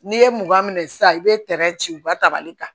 N'i ye mugan minɛ sisan i bɛ tɛrɛ ci u ka tabali kan